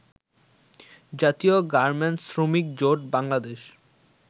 জাতীয় গার্মেন্টস শ্রমিক জোট বাংলাদেশ